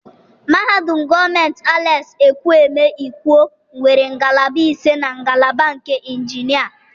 Mahadum gọọmenti Alex Ekwueme Ikwo nwere ngalaba ise na ngalaba nke Injinia.